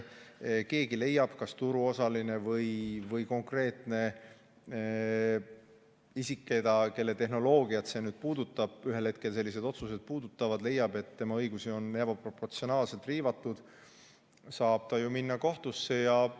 Kui keegi leiab – kas turuosaline või konkreetne isik, kelle tehnoloogiat sellised otsused nüüd puudutavad või ühel hetkel puudutavad –, et tema õigusi on ebaproportsionaalselt riivatud, siis ta saab ju minna kohtusse.